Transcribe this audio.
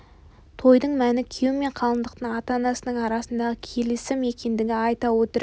тойдың мәні күйеу мен қалыңдықтың ата-анасының арасындағы келісім екендігін айта отырып